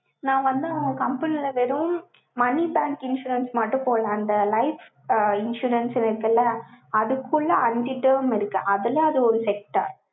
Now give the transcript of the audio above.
நான் வந்து அவங்க company ல வெறும் money bank insurance மட்டும் போடலை. அந்த life insurance இருக்குல்ல, அதுக்குள்ள அஞ்சு term இருக்கு. அதுல அது ஒரு sector